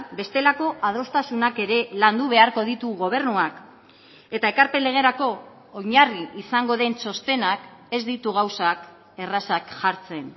bestelako adostasunak ere landu beharko ditu gobernuak eta ekarpen legerako oinarri izango den txostenak ez ditu gauzak errazak jartzen